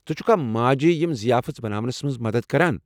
ژٕ چھکھا ماجہِ یِم ضیافٕژ بناونَس مَنٛز مدد کران؟